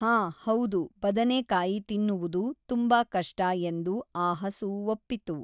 ಹಾ ಹೌದು ಬದನೇಕಾಯಿ ತಿನ್ನುವುದು ತುಂಬಾ ಕಷ್ಟ ಎಂದು ಆ ಹಸು ಒಪ್ಪಿತು.